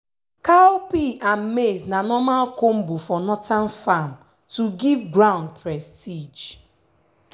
cowpea and maize na normal combo for northern farm to give ground prestige.